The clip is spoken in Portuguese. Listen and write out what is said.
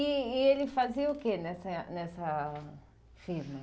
E e ele fazia o que nessa nessa firma?